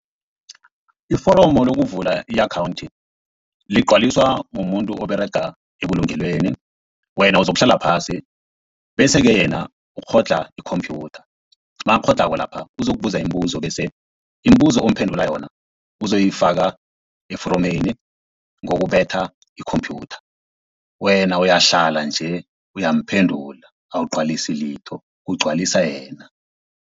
Iforomo lokuvula i-akhawunthi ligcwaliswa mumuntu oberega ebulungelweni, wena uzokuhlala phasi bese-ke yena ukghodlha ikhomphyutha nakakghodlhako lapha uzokubuza imibuzo, bese imibuzo omphendula yona uzoyifaka eforomeni ngokubetha ikhomphyutha. Wena uyahlala nje uyamphendula awugcwalisi litho kugcwalisa yena.